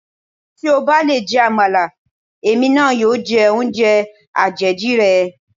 Tí o bá lè jẹ Àmàlà, èmi náà yóò jẹ oúnjẹ àjèjì rẹ.